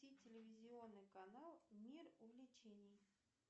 включи телевизионный канал мир увлечений